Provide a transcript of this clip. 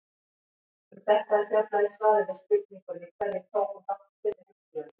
Um þetta er fjallað í svari við spurningunni Hverjir tóku þátt í fyrri heimsstyrjöldinni?